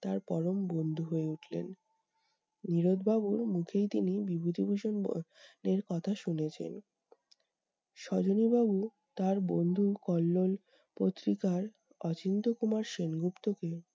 তার পরম বন্ধু হয়ে উঠলেন। নীরদ বাবুর মুখেই তিনি বিভূতিভূষণ ব এর কথা শুনেছেন। সজনী বাবু তার বন্ধু কল্লোল পত্রিকার অচিন্ত্য কুমার সেনগুপ্তকে